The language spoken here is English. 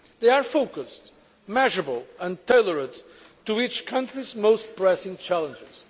They are focused, measurable and tailored to each country's most pressing challenges.